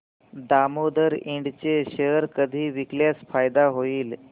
दामोदर इंड चे शेअर कधी विकल्यास फायदा होईल